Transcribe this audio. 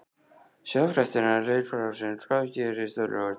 Sjá fréttina: LEIKUR ÁRSINS- HVAÐ GERIST Á LAUGARDAGINN?